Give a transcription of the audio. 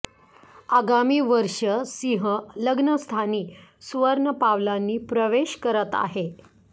आगामी वर्ष सिंह लग्न स्थानी सुवर्ण पावलांनी प्रवेश करत आहे